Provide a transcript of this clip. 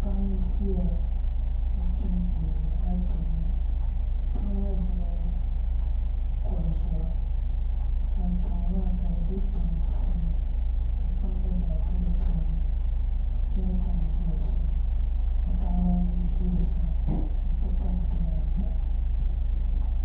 Paɣa n ʒiya n chimdi achomo paɣa maa ʒila kuɣu zuɣu ka achomo maa ka di bɛ pai puuni ka kpam gba zaa bɛ di puuni ka jɛrikan ʒi o sani ka paɣaba ayi ʒi o sani n ti pahi bihi ata